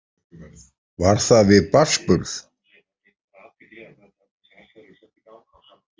Var það við barnsburð?